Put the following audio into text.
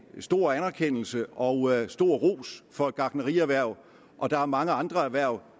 stor anerkendelse og stor ros for gartnerierhvervet og der er mange andre erhverv